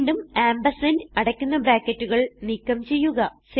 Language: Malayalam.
വീണ്ടും ആംപർസാൻഡ് അടയ്ക്കുന്ന ബ്രാക്കറ്റുകൾ നീക്കം ചെയ്യുക